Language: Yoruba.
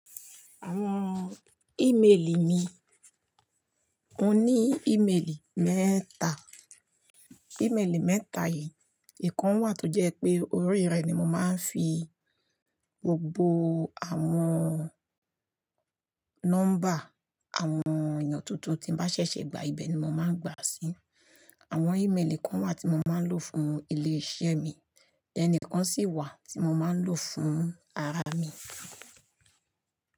Àwọn ímeèlì mi, mo ní ímeèlì mẹ́ta, ímeèlì mẹ́ta yìí, èèkàn wà tó jẹ́ pé orí rẹ̀ ni mo máa ń fi gbogbo àwọn nọ́mbà àwọn èèyàn tuntun tí n bá ṣẹ̀ṣẹ̀ gba ibẹ̀ ni mo máa ń gbà sí, àwọn ímeèlì kan wà tí mo máa ń lò fún ilé-iṣẹ́ mi, ẹni kan sì wà tí mo máa ń lò fún ara mi.